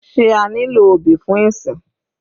Sé a nílò obì fún ìsìn?